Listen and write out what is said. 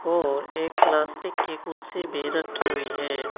और एक प्लास्टिक की कुड़सी भी रखी हुई हैं।